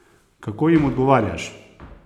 Kako jim odgovarjaš?